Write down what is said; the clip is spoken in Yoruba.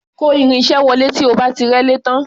Kò irin-iṣẹ́ wọlé tí o bá ti rẹ́lé tán.